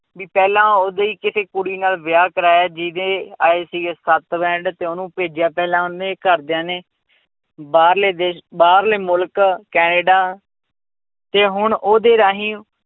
ਵੀ ਪਹਿਲਾਂ ਉਹਦੀ ਕਿਸੇ ਕੁੜੀ ਨਾਲ ਵਿਆਹ ਕਰਵਾਇਆ ਜਿਹਦੇ ਆਏ ਸੀਗੇ ਸੱਤ band ਤੇ ਉਹਨੂੰ ਭੇਜਿਆ ਪਹਿਲਾਂ ਉਹਨੇ ਘਰਦਿਆਂ ਨੇ, ਬਾਹਰਲੇ ਦੇਸ ਬਾਹਰਲੇ ਮੁਲਕ ਕੈਨੇਡਾ ਤੇ ਹੁਣ ਉਹਦੇ ਰਾਹੀਂ